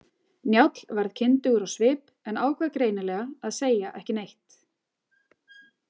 Njáll varð kyndugur á svip en ákvað greinilega að segja ekki neitt.